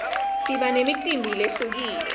siba nemicimbi lehlukile